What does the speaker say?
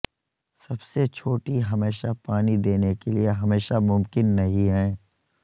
سب سے چھوٹی ہمیشہ پانی دینے کے لئے ہمیشہ ممکن نہیں ہیں